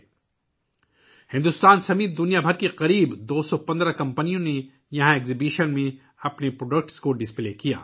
یہاں کی نمائش میں بھارت سمیت دنیا بھر سے تقریباً 215 کمپنیوں نے اپنی مصنوعات کی نمائش کی